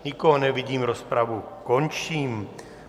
Nikoho nevidím, rozpravu končím.